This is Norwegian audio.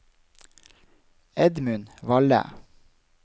Edmund Valle